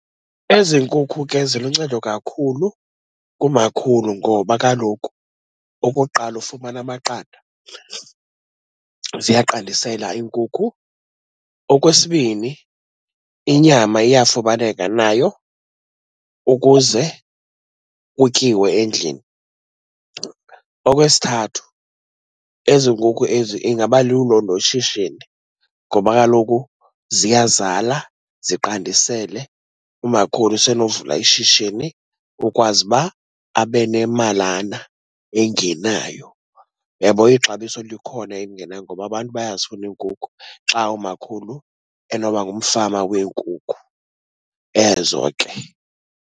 Ezi nkukhu ke ziluncedo kakhulu kumakhulu ngoba kaloku okokuqala ufumana amaqanda, ziyaqandisela iinkukhu. Okwesibini, inyama iyafumaneka nayo ukuze kutyiwe endlini. Okwesithathu, ezi nkukhu ezi ingaba lulo noshishini, ngoba kaloku ziyazala ziqandisele. Umakhulu usenowuvula ishishini kukwazi uba abe nemalana engenayo. Uyabona ixabiso likhona elingenayo, ngoba abantu bayazifuna iinkukhu xa umakhulu enoba ngumfama wenkukhu ezo ke.